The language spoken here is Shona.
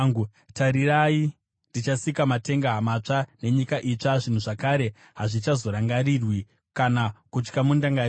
“Tarirai, ndichasika matenga matsva nenyika itsva. Zvinhu zvakare hazvichazorangarirwi, kana kuuya mundangariro.